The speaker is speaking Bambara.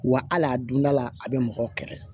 Wa hali a donda la a bɛ mɔgɔw kɛlɛ